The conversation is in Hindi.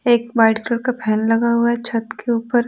एक वाइट कलर का फैन लगा हुआ है छत के ऊपर--